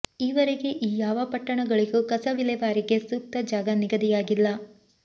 ಈವರೆಗೆ ಈ ಯಾವ ಪಟ್ಟಣಗಳಿಗೂ ಕಸ ವಿಲೇವಾರಿಗೆ ಸೂಕ್ತ ಜಾಗ ನಿಗದಿಯಾಗಿಲ್ಲ